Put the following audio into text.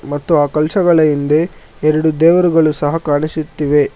ಮತ್ತು ಅ ಕಳಶಗಳ ಹಿಂದೆ ಎರಡು ದೇವರುಗಳು ಸಹ ಕಾಣಿಸುತ್ತಿವೆ.